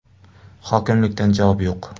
Hokimlikdan javob yo‘q.